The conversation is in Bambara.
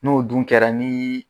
N'o dun kɛra nii